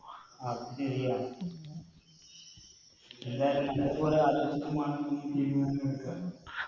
അത് ശെരിയാ എന്തായാലും നമ്മൾക്കൊരു ആലോചന